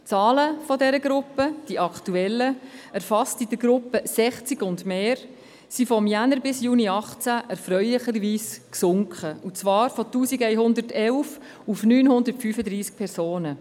Die aktuellen Zahlen dieser Gruppe, erfasst in der Gruppe 60 und mehr Jahre, sind vom Januar bis Juni 2018 erfreulicherweise gesunken – und zwar von 1111 auf 935 Personen.